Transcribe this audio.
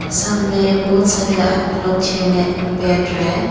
सामने बोहोत सारे आदमी लोग चेयर मे बैठ रहे हैं।